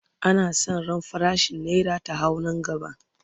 ana San ran farashin naira ta hau Nan gaba